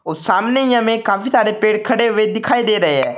सामने ही हमें काफी सारे पेड़ खड़े हुए दिखाई दे रहे हैं।